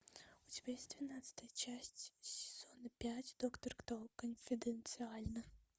у тебя есть двенадцатая часть сезона пять доктор кто конфиденциально